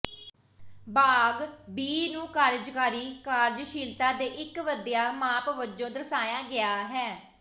ਭਾਗ ਬੀ ਨੂੰ ਕਾਰਜਕਾਰੀ ਕਾਰਜਸ਼ੀਲਤਾ ਦੇ ਇੱਕ ਵਧੀਆ ਮਾਪ ਵਜੋਂ ਦਰਸਾਇਆ ਗਿਆ ਹੈ